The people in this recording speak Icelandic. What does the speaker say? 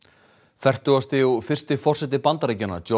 fertugasti og fyrsti forseti Bandaríkjanna